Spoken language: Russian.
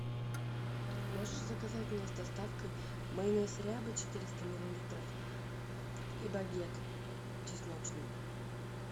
можешь заказать мне с доставкой майонез ряба четыреста миллилитров и багет чесночный